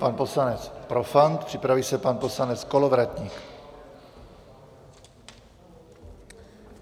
Pan poslanec Profant, připraví se pan poslanec Kolovratník.